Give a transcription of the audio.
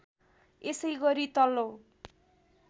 यसै गरी तल्लो